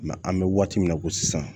an bɛ waati min na i ko sisan